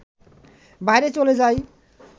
বাইরে চলে যাই